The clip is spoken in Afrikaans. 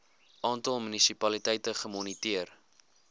aantal munisipaliteite gemoniteer